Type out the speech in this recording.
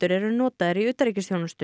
eru notaðar í utanríkisþjónustu